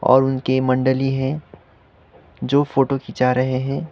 और उनकी मंडली है जो फोटो खींचा रहे हैं।